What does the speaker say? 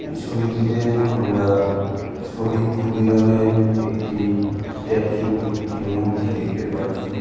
এই ছবিটিতে আমরা শহীদ ক্ষুদিরামের একটি স্ট্যাচু একটি মূর্তি দেখতে পাচ্ছি ।